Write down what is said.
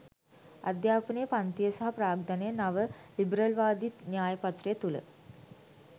අධ්‍යාපනය පන්තිය සහ ප්‍රාග්ධනය නවලිබරල්වාදී න්‍යාය පත්‍රය තුළ